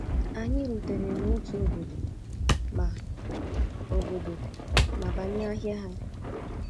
Anyị rutere n’otu obodo ma obodo ma banye ahịa ha.